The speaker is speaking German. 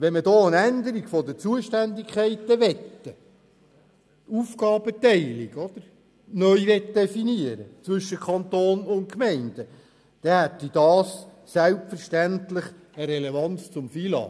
Wollte man da eine Änderung der Zuständigkeiten und eine Neudefinition der Aufgabenteilung zwischen Kanton und Gemeinden, hätte dies selbstverständlich eine Relevanz zum Finanz- und Lastenausgleich.